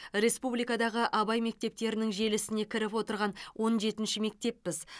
республикадағы абай мектептерінің желісіне кіріп отырған он жетінші мектеппіз